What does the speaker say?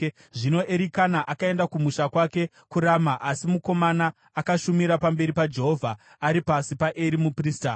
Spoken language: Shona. Zvino Erikana akaenda kumusha kwake kuRama, asi mukomana akashumira pamberi paJehovha ari pasi paEri muprista.